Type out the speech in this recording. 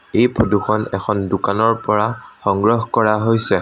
এই ফটো খন এখন দোকানৰ পৰা সংগ্ৰহ কৰা হৈছে।